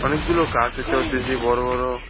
অনেকগুলো গাছ দেখতে পারতাছি বড় বড়।